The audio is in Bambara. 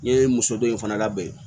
N ye muso dɔ in fana labɛn